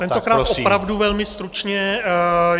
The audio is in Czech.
Tentokrát opravdu velmi stručně.